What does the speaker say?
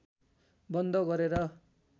बन्द गरेर